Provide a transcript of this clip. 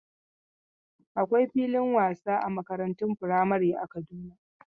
Akwai filin wasa a makarantun firamare a Kaduna.